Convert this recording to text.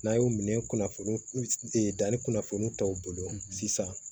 N'a y'u minɛ kunnafoni danni kunnafoni tɔw bolo sisan